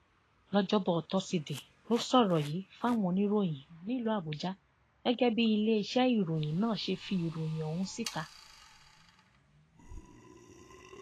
lọjọbọ tosidee ló sọrọ yìí fáwọn oníròyìn nílùú àbújá gẹgẹ bíi iléeṣẹ ìròyìn nan ṣe fi ìròyìn ọhún síta